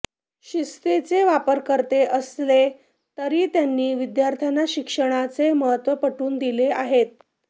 शिस्तीचे वापरकर्ते असले तरी त्यांनी विद्यार्थ्यांना शिक्षणाचे महत्त्व पटवून दिले आहेत